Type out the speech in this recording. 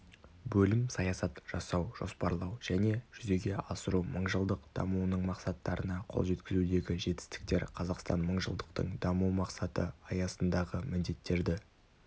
бөлім саясат жасау жоспарлау және жүзеге асыру мыңжылдық дамуының мақсаттарына қол жеткізудегі жетістіктер қазақстан мыңжылдықтың дамыу мақсаты аясындағы міндеттерді